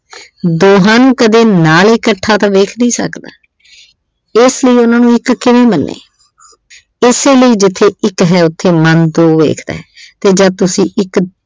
ਦੋਹਾਂ ਨੂੰ ਕਦੇ ਨਾਲ ਇਕੱਠਾ ਤਾਂ ਵੇਖ ਨਹੀਂ ਸਕਦਾ। ਇਸ ਲਈ ਇਹਨਾਂ ਨੂੰ ਇੱਕ ਕਿਵੇਂ ਮੰਨੇ । ਇਸੇ ਲਈ ਜਿੱਥੇ ਇੱਕ ਹੈ ਉਥੇ ਮਨ ਦੋ ਵੇਖਦਾ ਤੇ ਜਦ ਤੁਸੀਂ ਇੱਕ